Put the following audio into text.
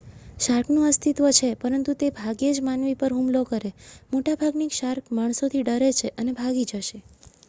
shark નું અસ્તિત્વ છે પરંતુ તે ભાગ્યે જ માનવી પર હુમલો કરે મોટા ભાગની શાર્ક માણસોથી ડરે છે અને ભાગી જશે